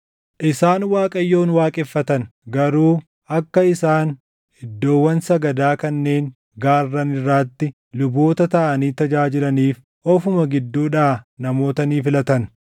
Isaan Waaqayyoon waaqeffatan; garuu akka isaan iddoowwan sagadaa kanneen gaarran irraatti luboota taʼanii tajaajilaniif ofuma gidduudhaa namoota ni filatan.